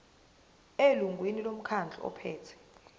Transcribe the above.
elungwini lomkhandlu ophethe